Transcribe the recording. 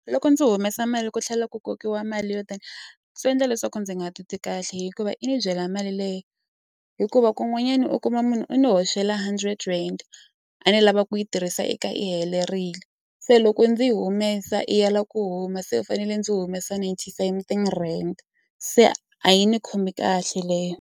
Loko ndzi humesa mali ku tlhela ku kokiwa mali yo tani swi endla leswaku ndzi nga titwi kahle hikuva i ni dyela mali leyi hikuva kun'wanyana u kuma munhu u n'wi hoxela hundred rand a ni lava ku yi tirhisa eka yi helerile se loko ndzi yi humesa i ya lava ku huma se u fanele ndzi humesa ninety something rand se a yi ni khomi kahle leyo.